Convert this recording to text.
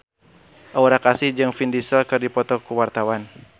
Aura Kasih jeung Vin Diesel keur dipoto ku wartawan